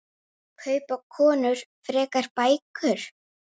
Kaupa konur frekar bækur?